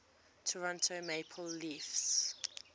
toronto maple leafs